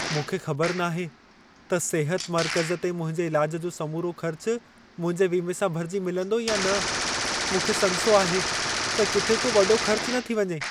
मूंखे ख़बर नाहे त सिहत मर्कज़ ते मुंहिंजे इलाज जो समूरो ख़र्च मुंहिंजे वीमे सां भरिजी मिलंदो या न। मूंखे संसो आहे त किथे को वॾो ख़र्च न थी वञे।